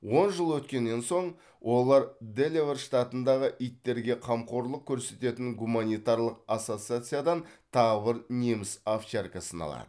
он жыл өткеннен соң олар делавэр штатындағы иттерге қамқорлық көрсететін гуманитарлық ассоциациядан тағы бір неміс овчаркасын алады